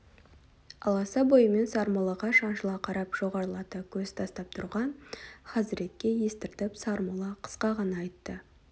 аласа бойымен сармоллаға шаншыла қарап жоғарылата көз тастап тұрған хазіретке естіртіп сармолла қысқа ғана айтты